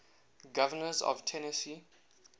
governors of tennessee